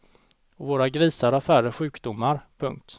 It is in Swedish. Och våra grisar har färre sjukdomar. punkt